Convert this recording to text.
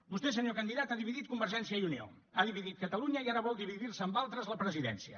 vostè senyor candidat ha dividit convergència i unió ha dividit catalunya i ara vol dividir se amb altres la presidència